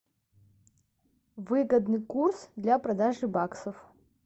выгодный курс для продажи баксов